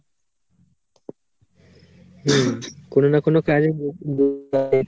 হুম কোনো না কোনো কাজে .